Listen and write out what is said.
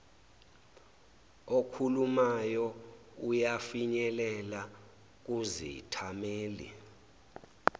okhulumayo uyafinyelela kuzithameli